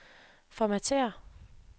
formatér